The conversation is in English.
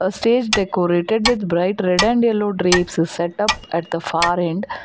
A stage decorated with bright red and yellow drapes setup at the far end.